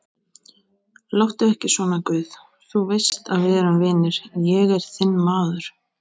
Láttu ekki svona guð, þú veist að við erum vinir, ég er þinn maður.